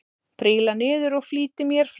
Príla niður og flýti mér fram.